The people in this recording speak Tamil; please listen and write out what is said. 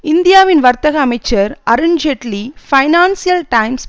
இந்தியாவின் வர்த்தக அமைச்சர் அருண் ஜேட்லி பைனான்சியல் டைம்ஸ்